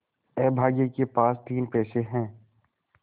अभागे के पास तीन पैसे है